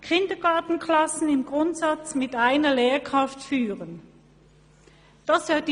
Eine weitere Forderung verlangt, dass Kindergartenklassen im Grundsatz mit einer Lehrkraft zu führen sind.